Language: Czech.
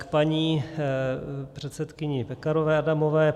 K paní předsedkyni Pekarové Adamové.